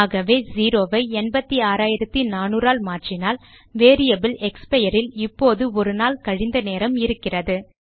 ஆகவே செரோ ஐ 86400 ஆல் மாற்றினால் வேரியபிள் எக்ஸ்பயர் இல் இப்போது ஒரு நாள் கழிந்த நேரம் இருக்கிறது